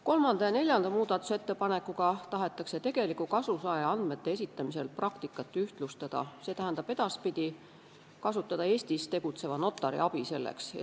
Kolmanda ja neljanda muudatusettepanekuga tahetakse tegeliku kasusaaja andmete esitamise praktikat ühtlustada, st edaspidi kasutada selleks Eestis tegutseva notari abi.